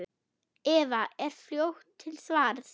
Eva er fljót til svars.